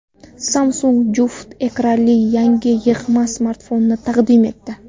Samsung juft ekranli yangi yig‘ma smartfonini taqdim etdi.